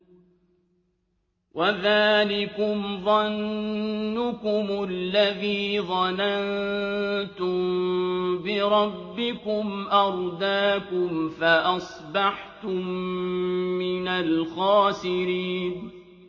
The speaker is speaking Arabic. وَذَٰلِكُمْ ظَنُّكُمُ الَّذِي ظَنَنتُم بِرَبِّكُمْ أَرْدَاكُمْ فَأَصْبَحْتُم مِّنَ الْخَاسِرِينَ